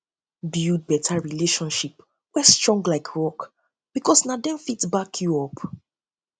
build beta build beta relationship wey strong like rock bikos na dem fit back yu up